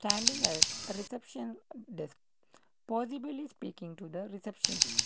reception desk possibly speaking to the receptionist.